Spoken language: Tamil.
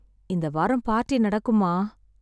இந்த வாரம் பார்ட்டி நடக்குமா?